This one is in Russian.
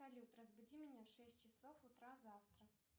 салют разбуди меня в шесть часов утра завтра